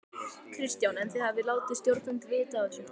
Kristján: En þið hafið látið stjórnvöld vita af þessu?